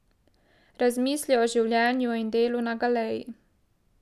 Razmisli o življenju in delu na galeji.